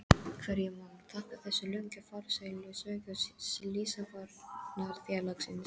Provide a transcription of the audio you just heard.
Hverju má þakka þessa löngu, farsælu sögu Slysavarnarfélagsins?